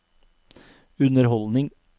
underholdning